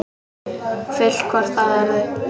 Full hvort af öðru.